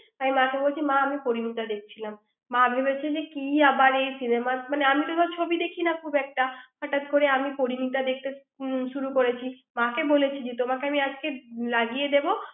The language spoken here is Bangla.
আমি মাকে বলছি মা আমি পরিণীতা দেখছিলাম মা ভেবেছে যে কি আবার এই cinema মানে আমি তো আবার ছবি দেখি না খুব একটা হঠাৎ করে আমি পরিণীতা দেখতে হু শুরু করেছি মাকে বলেছি তোমাকে আমি আজকে লাগিয়ে দেবো